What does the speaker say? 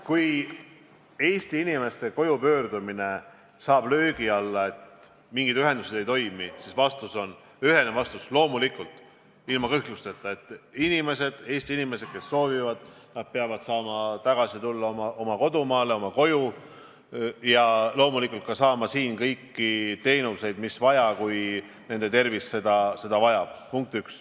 Kui Eesti inimeste koju pöördumine satub löögi alla, sest mingid ühendused ei toimi, siis ühene vastus on see, et loomulikult, ilma kõhklusteta peavad Eesti inimesed, kes soovivad, saama tagasi tulla oma kodumaale, oma koju ja loomulikult saama siin ka kõiki teenuseid, mida nende tervis vajab.